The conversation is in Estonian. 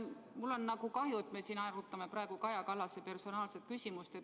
Mul on kahju, et me arutame praegu Kaja Kallase personaalküsimust.